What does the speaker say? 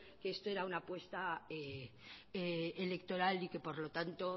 que esto era una apuesta electoral y que por lo tanto